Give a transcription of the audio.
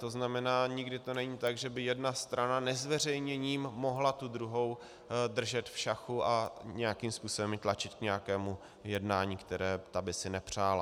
To znamená, nikdy to není tak, že by jedna strana nezveřejněním mohla tu druhou držet v šachu a nějakým způsobem ji tlačit k nějakému jednání, které ta by si nepřála.